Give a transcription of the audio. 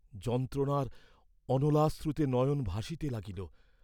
যন্ত্রণার অনলাশ্রুতে নয়ন ভাসিতে লাগিল।